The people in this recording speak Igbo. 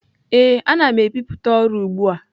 Ee, ana m ebipụta ọrụ ugbu a.